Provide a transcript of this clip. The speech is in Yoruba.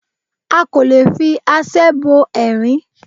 A kò lè fi aṣẹ́ bọ ẹrin